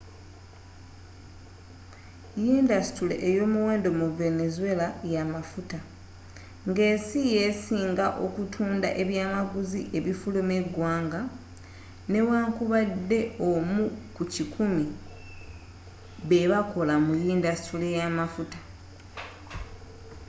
yindasitule eyomuwendo mu venezuela ya mafuta ngensi yesinga okutunda ebyamaguzi ebifuluma eggwanga newankubadde omu ku kikumi bebakola mu yindasitule yamafuta